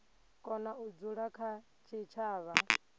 kona u dzula kha tshitshavha